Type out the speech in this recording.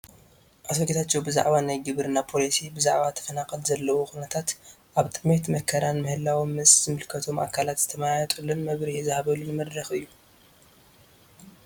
አቶ ጌታቸው ብዘዓባ ናይ ግብርና ፖሊሲ፣ ብዘዓባ ተፈናቀል ዘለውዎ ኩነታት አብ ጥምየትን መከራን ምህላዎም ምስ ዝምልከቶም አካላት ዝተመያየጥሉን መብርሂ ዝሃብሉን መድረኽ እዩ።